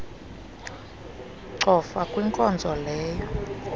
cofa kwinkonzo leyo